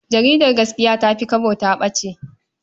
Jaridar Gaskiya ta fi Kwabo ta ɓace.